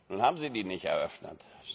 Nun haben Sie die nicht eröffnet.